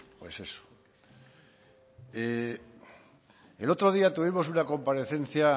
pues eso el otro día tuvimos una comparecencia